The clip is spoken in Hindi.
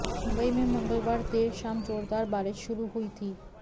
मुंबई में मंगलवार देर शाम जोरदार बारिश शुरू हुई थी